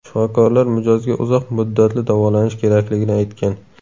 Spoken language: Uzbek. Shifokorlar mijozga uzoq muddatli davolanish kerakligini aytgan.